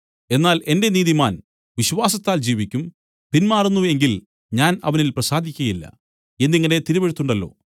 എന്നാൽ എന്റെ നീതിമാൻ വിശ്വാസത്താൽ ജീവിക്കും പിൻമാറുന്നു എങ്കിൽ ഞാൻ അവനിൽ പ്രസാദിക്കയില്ല എന്നിങ്ങനെ തിരുവെഴുത്തുണ്ടല്ലോ